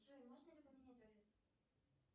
джой можно ли поменять офис